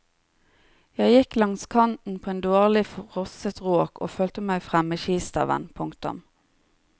Jeg gikk langs kanten på en dårlig frosset råk og følte meg frem med skistaven. punktum